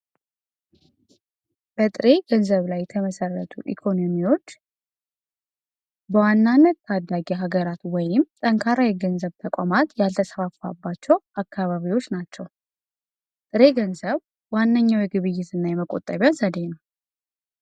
ገንዘብ ላይ ተመሰረቱ ኢኮኖሚ ወይም ጠንካራ የገንዘብ ተቋማት ያልተሰፋባቸው አካባቢዎች ናቸው ዋነኛው የግብይትና የመቆጣጠሪያ ዘዴ ነው